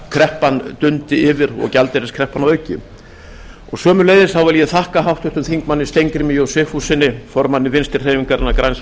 því að bankakreppan dundi yfir og gjaldeyriskreppan að auki sömuleiðis vil ég þakka háttvirtum þingmönnum steingrími j sigfússyni formanni vinstri hreyfingarinnar græns